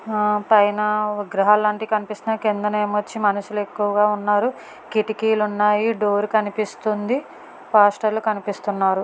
హా పైన విగ్రహాలు లాంటివి కనిపిస్తున్నాయి కిందనేమో వచ్చి మనుషులు ఎక్కువగా ఉన్నారు కిటికీలు ఉన్నాయి డోర్ కనిపిస్తుంది. పాస్టర్ లు కనిపిస్తున్నారు.